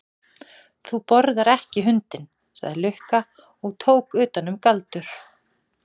Þú borðar ekki hundinn, sagði Lukka og tók utan um Galdur.